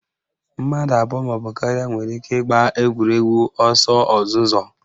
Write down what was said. Mmadụ abụọ maọbụ karịa nwere ike ịgba egwuregwu ọsọ ozuzo